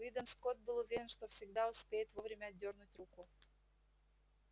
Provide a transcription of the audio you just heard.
уидон скотт был уверен что всегда успеет вовремя отдёрнуть руку